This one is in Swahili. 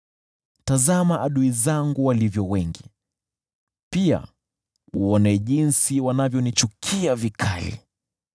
Tazama adui zangu walivyo wengi, pia uone jinsi wanavyonichukia vikali!